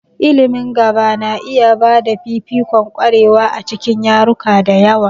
Ilimin gaba na iya ba da fifikon ƙwarewa a cikin yaruka da yawa.